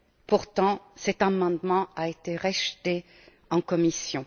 Pourtant, cet amendement a été rejeté en commission.